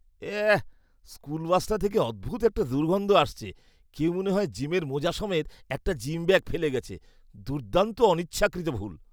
এহ্! School বাসটা থেকে অদ্ভুত একটা দুর্গন্ধ আসছে। কেউ মনে হয় জিমের মোজা সমেত একটা জিম ব্যাগ ফেলে গেছে। দুর্দান্ত অনিচ্ছাকৃত ভুল।